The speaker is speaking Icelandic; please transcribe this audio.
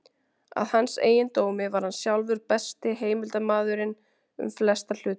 Að hans eigin dómi var hann sjálfur besti heimildarmaðurinn um flesta hluti.